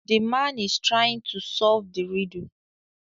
The man is trying to solve the riddle